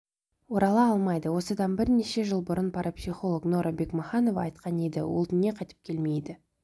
орала алмайды осыдан бірнеше жыл бұрын парапсихолог нора бекмаханова айтқан еді ол дүние қайтып келмейді